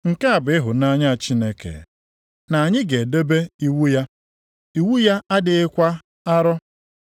Nke a bụ ịhụnanya Chineke, na anyị ga-edebe iwu ya. Iwu ya adịghịkwa arọ.